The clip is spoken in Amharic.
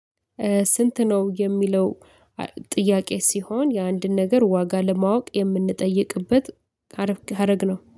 ስንት ነው የሚለው? ጥያቄ ሲሆን የአንድን ነገር ዋጋ ለማወቅ የምንጠይቅበት ሀረግ ነው